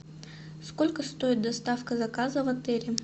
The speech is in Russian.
сколько стоит доставка заказа в отеле